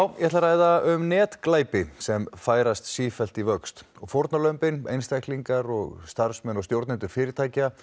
ég ætla að ræða um netglæpi sem færast sífellt í vöxt og fórnarlömbin einstaklingar og og stjórnendur fyrirtækja